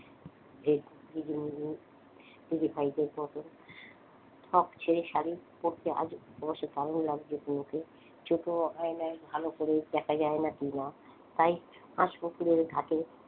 ঠক ছেড়ে শাড়ি পরতে আজ অবশ্য দারুন লাগছে হুমু কে ছোট আয়নায় ভালো করে দেখা যায় না কিনা তাই হাস পুকুরের ঘাটে,